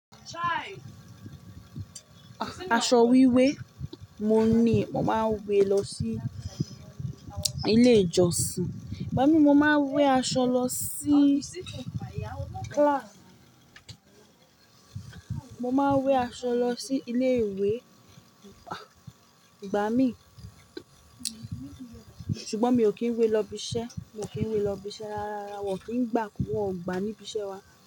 Aṣọ wíwé mo ní, mo máa ń wé lọ sí ilé ìjọsìn, ìgbà mìi mo máa ń wé aṣọ lọ sí class. Mo máa ń wé aṣọ lọ sí ilé ìwé ìgbà mì. Ṣùgbọ́n mi ò kí ń wé lọ ibi iṣẹ́, mi ò kí ń wé lọ ibi iṣẹ́ rárá, wọ́n ò kí ń gbà, wọ́n ò gba níbi iṣẹ́ wa.